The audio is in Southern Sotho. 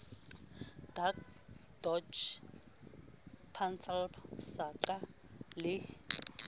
dac doj pansalb saqa le